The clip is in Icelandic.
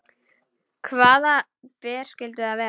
Hvaða ber skyldu það vera?